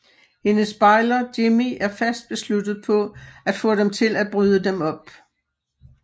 Hendes bejler Jimmie er fast besluttet på at få dem til at bryde dem op